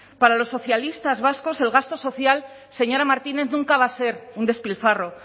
para los socialistas vascos el gasto social señora martínez nunca va a ser un despilfarro